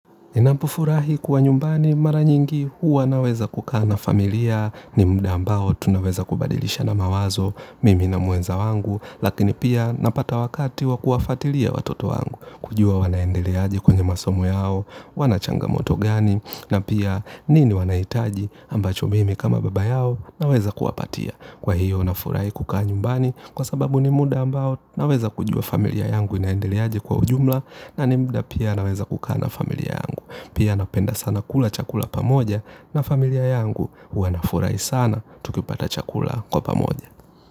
Ninapo furahi kuwa nyumbani mara nyingi huwa naweza kukaa na familia ni muda ambao tunaweza kubadilishana mawazo mimi na mwenza wangu lakini pia napata wakati wakuwafatilia watoto wangu kujua wanaendeleaje kwenye masomo yao wana changa moto gani na pia nini wanahitaji ambacho mimi kama baba yao naweza kuwapatia. Kwa hiyo nafurahi kukaa nyumbani kwa sababu ni muda ambao naweza kujua familia yangu inaendeleaje kwa ujumla nani muda pia naweza kukaa na familia yangu. Pia napenda sana kula chakula pamoja na familia yangu wanafurahi sana tukipata chakula kwa pamoja.